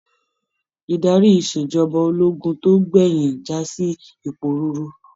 Idarí ìṣèjọba ológun tó gbẹyin jasi iporuuru.